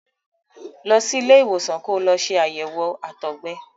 Lọ sí ilé ìwòsàn ko lọ ṣe àyẹ̀wò àtọgbẹ.